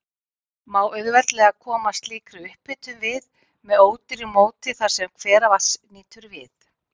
Má auðveldlega koma slíkri upphitun við með ódýru móti þar, sem hveravatns nýtur við.